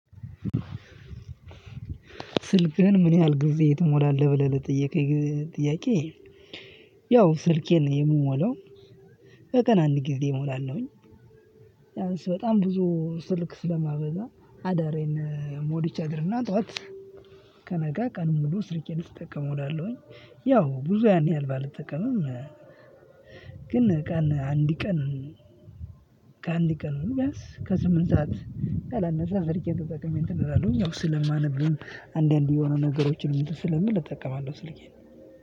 ስልክህን ምን ያህል ጊዜ ትሞላለህ ብለህ ለጠየከኝ ጥያቄ? ያው ስልኬን የምሞላው በቀን አንድ ጊዜ እሞላለሁኝ። ቢያንስ በጣም ብዙ ስልክ ስለማበዛ አዳሬን ሞልቼ አድር እና ጠዋት። ከነጋ ቀን ሙሉ ስልኬን ስጠቀም እዉላለሁኝ። ያው ብዙ ያን ያህል ባልጠቀምም ግን ቀን አንድ ቀን ከአንድ ቀኑ ቢያንስ ከስምንት ሰዓት ያላነሰ ስልኬን ተጠቅሜ እንትን አላለሁኝ። ያው ስለማነብም አንዳንዴ የሆኑ ነገሮችን ስለምል እጠቀማለሁ ስልኬን።